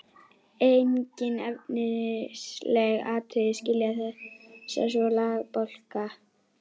Engin efnisleg atriði skilja þessa tvo lagabálka að.